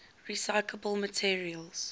recyclable materials